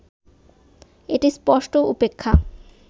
এটা স্পষ্ট উপেক্ষা